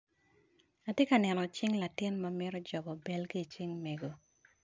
Ati kaneno cing latin ma mito jobo bel ki i cing mego.